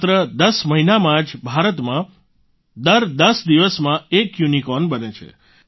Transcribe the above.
માત્ર 10 મહિનામાં જ ભારતમાં દર 10 દિવસમાં એક યુનિકોર્ન બને છે